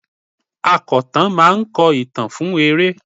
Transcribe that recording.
Akọ̀tàn máa ń kọ ìtàn fún eré.